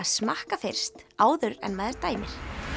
smakka fyrst áður en maður dæmir